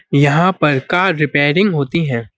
यहाँ पर car repairing होती हैं।